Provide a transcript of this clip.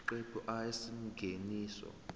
isiqephu a isingeniso